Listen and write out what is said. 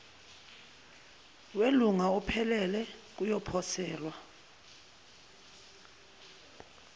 welunga ophelele kuyoposelwa